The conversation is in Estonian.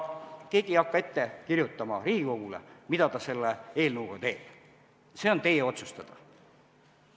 Keegi ei hakka ette kirjutama Riigikogule, mida ta selle eelnõuga teeb, see on teie otsustada.